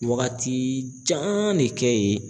Wagati jan de kɛ yen